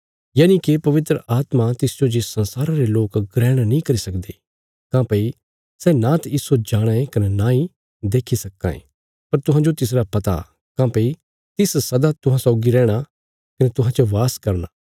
यनिके पवित्र आत्मा तिसजो जे संसारा रे लोक ग्रहण नीं करी सकदे काँह्भई सै नांत इस्सो जाणाँ ये कने नांई देखी सक्कां ये पर तुहां तिसरा पता काँह्भई तिस सदा तुहांजो रैहणा कने तुहां च वास करना